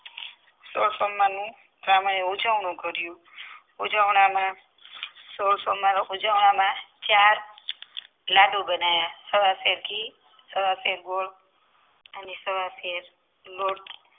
સોળ સોમવારનું બ્રાહ્મણે એ ઉજવણું કર્યું ઉજવવામાં સોળ સોમવાર ના ઉજવવામાં ચાર લાડુ બનાવ્યા સવાસો ઘી સવાસેર ગોળ અને સવાસો લોટ